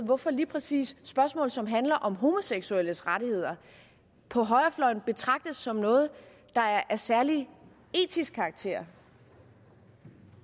hvorfor lige præcis spørgsmål som handler om homoseksuelles rettigheder på højrefløjen betragtes som noget der er af særlig etisk karakter